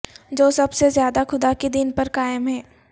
جو سب سے زیادہ خدا کے دین پر قائم ہیں